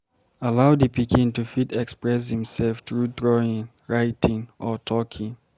Allow di pikin to fit express im self through drawing, writing or talking